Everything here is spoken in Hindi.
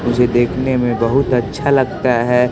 मुझे देखने में बहुत अच्छा लगता है।